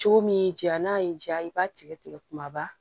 Cogo min y'i diya n'a y'i diya i b'a tigɛ tigɛ kumaba